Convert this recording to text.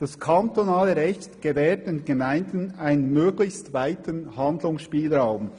«Das kantonale Recht gewährt den Gemeinden einen möglichst weiten Handlungsspielraum.»